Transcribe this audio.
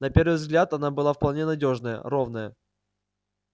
на первый взгляд она была вполне надёжная ровная